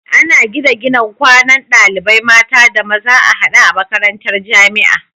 Ana gina gidan kwanan ɗalibai mata da maza a hade a makarantar jamia